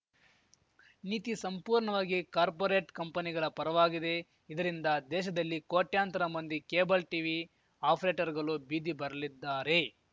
ನೀತಿ ಸಂಪೂರ್ಣವಾಗಿ ಕಾರ್ಪೋರೆಟ್‌ ಕಂಪನಿಗಳ ಪರವಾಗಿದೆ ಇದರಿಂದ ದೇಶದಲ್ಲಿ ಕೋಟ್ಯಂತರ ಮಂದಿ ಕೇಬಲ್‌ ಟಿವಿ ಅಪರೇಟರ್‌ಗಳು ಬೀದಿ ಬರಲಿದ್ದಾರೆ